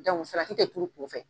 tɛ turu kunfɛ.